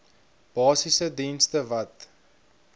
basiese dienste wat